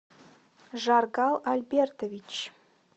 жаргал альбертович